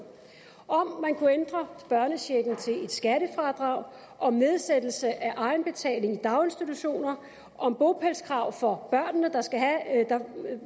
om man kunne ændre børnechecken til et skattefradrag om nedsættelse af egenbetalingen i daginstitutioner om bopælskrav for børnene